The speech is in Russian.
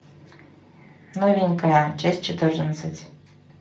новенькая часть четырнадцать